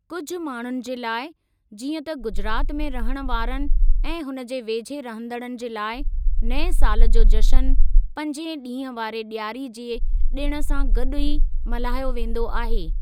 कुझु माण्हुनि जे लाइ, जीअं त गुजरात में रहणु वारनि ऐं हुन जे वेझे रहंदड़नि जे लाइ नएं साल जो जशन पंज डीं॒हु वारे डि॒यारी जे डि॒ण सां गॾु ई मल्हायो वेंदो आहे।